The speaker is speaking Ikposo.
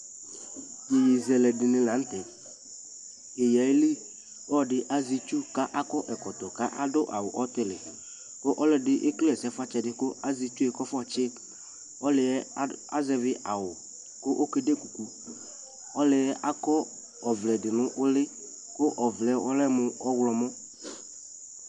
yɛyɛzɛlɛ dini lantɛ, yɛyɛ ayili ɔdi azɛ itsʋ kʋ akɔ ɛkɔtɔ kʋ adʋ awʋ ɔtili kʋ ɔlɔdi ɛkɛlɛ ɛsɛƒʋatsɛ di kʋ azɛ itsʋ kʋ aƒɔ tsi ɔlʋɛ azɛvi awʋ kʋ ɔkɛ dɛ kʋkʋ, ɔlʋɛ akɔ ɔvlɛ dinʋ ʋli kʋ ɔvlɛ ɔlɛmʋ ɔwlɔmɔ